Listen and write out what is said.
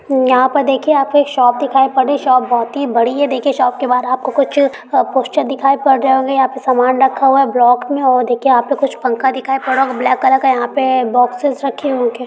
यहाँ पर देखिये आपको एक शॉप दिखाई पड़ रही है। शॉप बहुत ही बड़ी है। देखिये शॉप के बाहर कुछ पोस्टर दिखाई पड़ रहे होंगे यहाँ पे सामान रखा हुआ है ब्लॉक में और देखिये यहाँ पे कुछ पंखा दिखाई पड़ रहा होगा। ब्लैक कलर का यहाँ पे बॉक्सेस रखे होंगे।